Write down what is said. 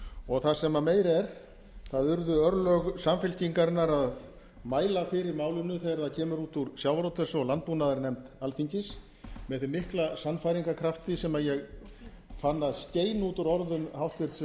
og það sem meira er það urðu örlög samfylkingarinnar að mæla fyrir málinu þegar það kemur út úr sjávarútvegs og landbúnaðarnefnd alþingis með þeim mikla sannfæringarkrafti sem ég fann að skein á úr orðum háttvirts